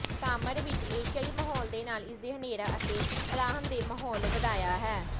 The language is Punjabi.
ਤਾਮਾਰ ਵਿੱਚ ਏਸ਼ੀਆਈ ਮਾਹੌਲ ਦੇ ਨਾਲ ਇਸਦੇ ਹਨੇਰਾ ਅਤੇ ਅਰਾਮਦੇਹ ਮਾਹੌਲ ਵਧੀਆ ਹੈ